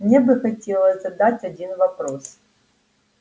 мне бы хотелось задать один вопрос